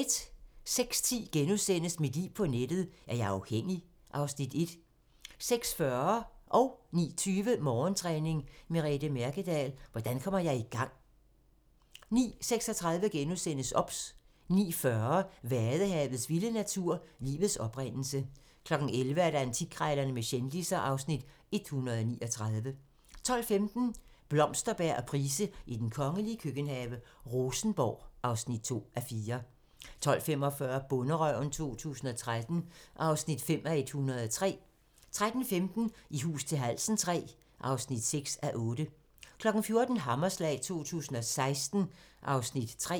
06:10: Mit liv på nettet: Er jeg afhængig? (Afs. 1)* 06:40: Morgentræning: Merete Mærkedahl - hvordan kommer jeg i gang? 09:20: Morgentræning: Merete Mærkedahl - hvordan kommer jeg i gang? 09:36: OBS * 09:40: Vadehavets vilde natur: Livets oprindelse 11:00: Antikkrejlerne med kendisser (Afs. 139) 12:15: Blomsterberg og Price i den kongelige køkkenhave: Rosenborg (2:4) 12:45: Bonderøven 2013 (5:103) 13:15: I hus til halsen III (6:8) 14:00: Hammerslag 2016 (Afs. 3)